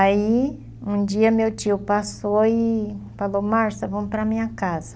Aí um dia meu tio passou e falou, Marcia, vamos para a minha casa.